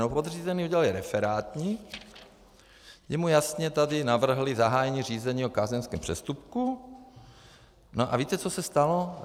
No podřízení udělali referátník, kdy mu jasně tady navrhli zahájení řízení o kázeňském přestupku, no a víte, co se stalo?